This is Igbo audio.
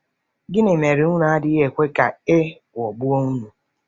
Gịnị mere unu adịghị ekwe ka e ghọgbuo unu? ”